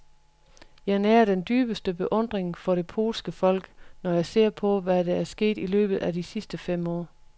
Jeg nærer den dybeste beundring for det polske folk, når jeg ser på, hvad der er sket i løbet af de sidste fem år.